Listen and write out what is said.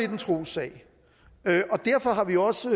en trossag og derfor har vi også